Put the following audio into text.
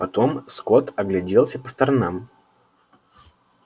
потом скотт огляделся по сторонам